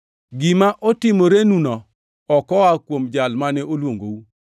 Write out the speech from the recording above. Gima otimorenuno ok oa kuom Jal mane oluongou.